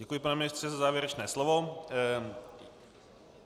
Děkuji, pane ministře, za závěrečné slovo.